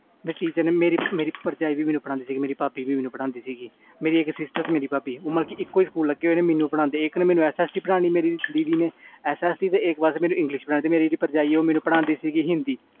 ਮੇਰੀ teacher ਮੇਰੀ ਭਰਜਾਈ ਵੀ ਮੈਨੂੰ ਪੜਦੀ ਸੀ ਮੇਰੀ ਇਕ sister ਸੀ ਤੇ ਭਾਬੀ ਸੀ ਮਤਬਲ ਇਕ ਸਕੂਲ ਵਿਚ ਦੋ ਨੂੰ ਸੀ ਮੇਰੀ sister S. S. T ਪੜਦੀ ਸੀ ਤੇ ਇਕ ਇੰਗਲਿਸ਼ ਮੇਰੀ ਭਾਬੀ ਹਿੰਦੀ ਪੜਦੀ ਸੀ